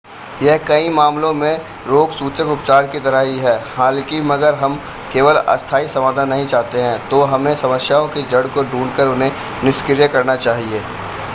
यह कई मामलों में रोगसूचक उपचार की तरह ही है हालांकि अगर हम केवल अस्थाई समाधान नहीं चाहते हैं तो हमें समस्याओं की जड़ को ढूंढ कर उन्हें निष्क्रिय करना चाहिए